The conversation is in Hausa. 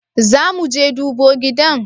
Zamuje dubo gidan?